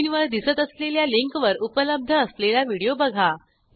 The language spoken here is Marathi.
स्क्रीनवर दिसत असलेल्या लिंकवर उपलब्ध असलेला व्हिडिओ बघा